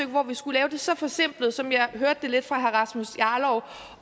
hvor vi skulle lave det så forsimplet som jeg lidt hørte det fra herre rasmus jarlovs